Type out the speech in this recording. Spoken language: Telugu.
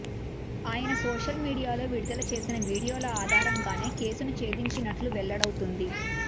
ఆయన సోషల్ మీడియాలో విడుదల చేసిన వీడియోల ఆధారంగానే కేసును ఛేదించినట్లు వెల్లడవుతుంది